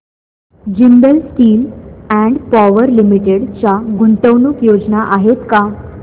Jindal steel and power limited च्या गुंतवणूक योजना आहेत का